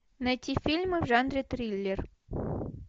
найти фильмы в жанре триллер